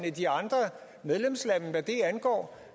i de andre medlemslande hvad det angår